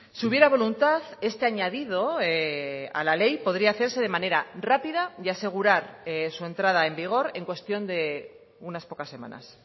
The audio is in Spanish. si hubiera voluntad este añadido a la ley podría hacerse de manera rápida y asegurar su entrada en vigor en cuestión de unas pocas semanas